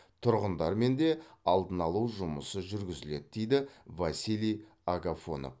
тұрғындармен де алдын алу жұмысы жүргізіледі дейді василий агафонов